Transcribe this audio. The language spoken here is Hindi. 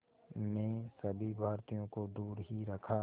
ने सभी भारतीयों को दूर ही रखा